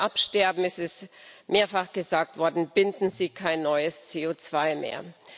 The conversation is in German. Wenn Bäume absterben es ist mehrfach gesagt worden binden sie kein neues CO2 mehr.